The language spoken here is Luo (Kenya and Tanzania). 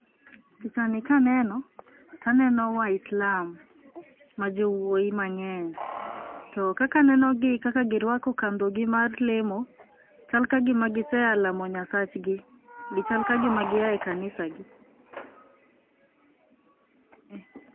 Pichani kaneno, to aneno waislam ma jowuoi mang'eny. To kaka aneno gi kaka girwako kandhogi mag lemo, chal kagima gise a lamo nyasachgi, chal kagima gia e kanisagi.